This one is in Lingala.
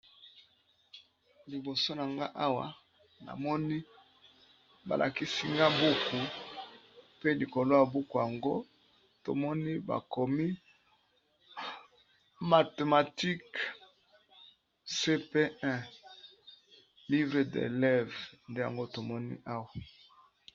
Liboso na nga awa, namoni balakisi nga buku, pe likolo ya buku yango bakomi mathématiques